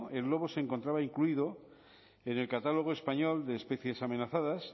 el lobo se encontraba incluido en el catálogo español de especies amenazadas